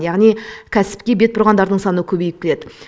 яғни кәсіпке бет бұрғандардың саны көбейіп келеді